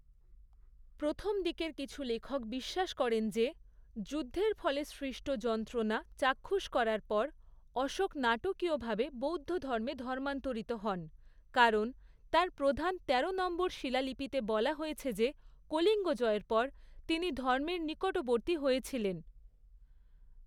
প্রথম দিকের কিছু লেখক বিশ্বাস করেন যে, যুদ্ধের ফলে সৃষ্ট যন্ত্রণা চাক্ষুষ করার পর অশোক নাটকীয়ভাবে বৌদ্ধধর্মে ধর্মান্তরিত হন, কারণ তাঁর প্রধান তেরো নম্বর শিলালিপিতে বলা হয়েছে যে, কলিঙ্গ জয়ের পর তিনি ধম্মের নিকটবর্তী হয়েছিলেন।